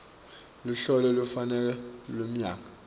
luhlolo lolufanele lwemnyaka